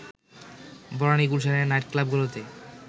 বনানী-গুলশানের নাইটক্লাবগুলোতে